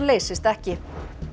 leysist ekki